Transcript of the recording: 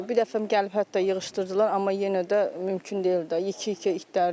Bir dəfəm gəlib hətta yığışdırdılar, amma yenə də mümkün deyil də, yekə-yekə itlərdir.